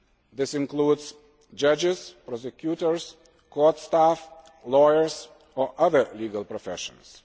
This includes judges, prosecutors, court staff, lawyers and other legal professions.